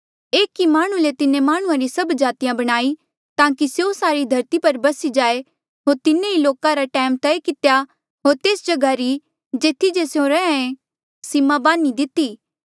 एक ई माह्णुं ले तिन्हें माह्णुंआं री सभ जातिया बणाई ताकि स्यों सारी धरती पर बसी जाए होर तिन्हें ई लोका रा टैम तय कितेया होर तेस जगहा री जेथी जे स्यों रैंहयां ऐें सीमा बान्ही दिती